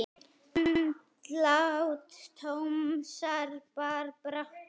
Andlát Tómasar bar brátt að.